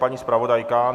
Paní zpravodajka?